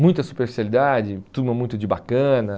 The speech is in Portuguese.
Muita superficialidade, turma muito de bacana.